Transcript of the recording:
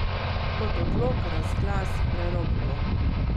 Kot odlok, razglas, prerokbo.